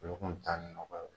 Olu kun taali nɔfɛ.